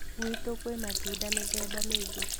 Ngwitũ kwĩ matunda mĩthemba mĩingĩ